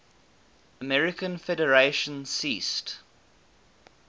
american federation ceased